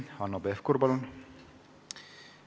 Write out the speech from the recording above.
Hanno Pevkur, palun!